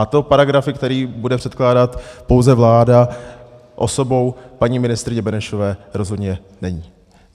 A to paragrafy, které bude předkládat pouze vláda osobou paní ministryně Benešové, rozhodně není.